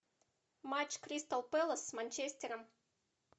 матч кристал пэлас с манчестером